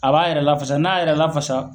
A b'a yɛrɛ lafasa n'a y'a yɛrɛ lafasa